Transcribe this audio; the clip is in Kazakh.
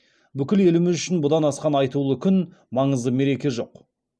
бүкіл еліміз үшін бұдан асқан айтулы күн маңызды мереке жоқ